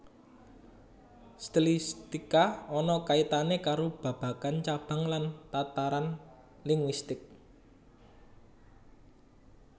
Stilistika ana kaitane karo babagan cabang lan tataran linguistik